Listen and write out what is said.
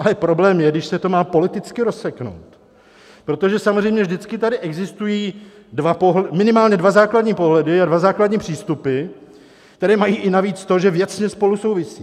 Ale problém je, když se to má politicky rozseknout, protože samozřejmě vždycky tady existují minimálně dva základní pohledy a dva základní přístupy, které mají i navíc to, že věcně spolu souvisí.